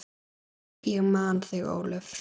Ég man þig, Ólöf.